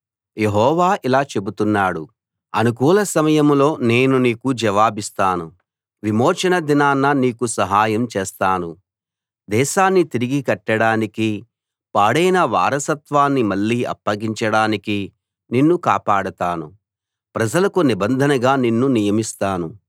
యెహోవా ఇలా చెబుతున్నాడు అనుకూల సమయంలో నేను నీకు జవాబిస్తాను విమోచన దినాన నీకు సహాయం చేస్తాను దేశాన్ని తిరిగి కట్టడానికీ పాడైన వారసత్వాన్ని మళ్ళీ అప్పగించడానికీ నిన్ను కాపాడతాను ప్రజలకు నిబంధనగా నిన్ను నియమిస్తాను